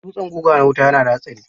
Dutsen guga na wuta yana da hatsari.